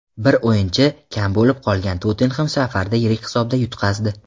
Bir o‘yinchi kam bo‘lib qolgan "Tottenhem" safarda yirik hisobda yutqazdi.